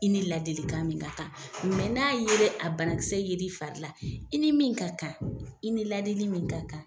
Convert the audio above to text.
I ni ladilikan min ka kan n'a yer'e a bana kisɛ yer'i fari la, i ni min ka kan, i ni ladili min ka kan